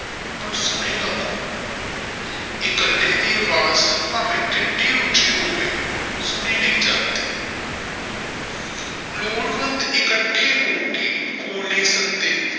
ਪਰ ਸੁਣੇਗਾ ਕੌਣ ਇਕੱਲੇ ਦੀ ਆਵਾਜ਼ ਭਾਵੇ ਕਿੱਡੀ ਉੱਚੀ ਹੋਵੇ ਸੁਣੀ ਨਹੀ ਜਾਂਦੀ ਲੋੜਵੰਦ ਇਕੱਠੇ ਹੋ ਕੇ ਖੋਹ ਨਹੀਂ ਸਕਦੇ ਪਰ ਸੁਣੇਗਾ ਕੌਣ।